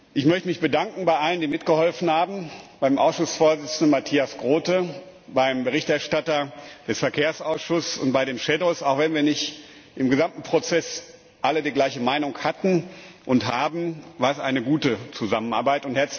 Ich möchte mich bei allen bedanken, die mitgeholfen haben, beim Ausschussvorsitzenden Matthias Groote, beim Berichterstatter des Verkehrsausschusses und bei den Schattenberichterstattern Auch wenn wir nicht im gesamten Prozess alle die gleiche Meinung hatten und haben, war es eine gute Zusammenarbeit.